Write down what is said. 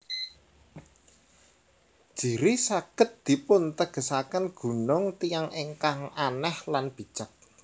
Jiri saged dipuntegesaken Gunung Tiyang ingkang Anèh lan Bijak